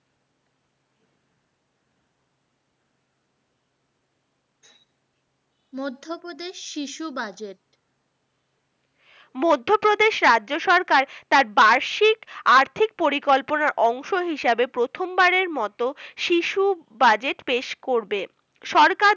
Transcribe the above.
মধ্যপ্রদেশ শিশু budget, মধ্যপ্রদেশ রাজ্য সরকার তার বার্ষিক আর্থিক পরিকল্পনার অংশ হিসেবে প্রথমবারের মতো শিশু budget পেশ করবেন সরকার